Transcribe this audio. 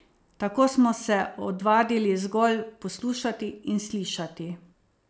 Tako smo se odvadili zgolj poslušati in slišati.